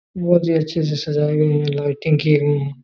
बहुत ही अच्छे से सजाई गई है लाइटिंग की गई हैं।